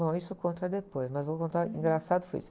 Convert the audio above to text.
Bom, isso eu conto depois, mas vou contar, engraçado foi isso.